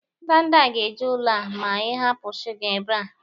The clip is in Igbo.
Ndanda ga-eju ụlọ a ma ị hapụ shuga ebe a.